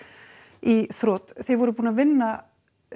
í þrot þið voruð búin að vinna